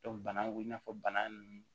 bana ko i n'a fɔ bana nunnu